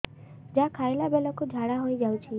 ଯାହା ଖାଇଲା ବେଳକୁ ଝାଡ଼ା ହୋଇ ଯାଉଛି